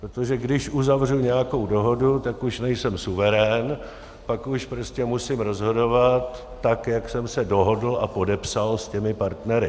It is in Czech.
Protože když uzavřu nějakou dohodu, tak už nejsem suverén, pak už prostě musím rozhodovat tak, jak jsem se dohodl a podepsal s těmi partnery.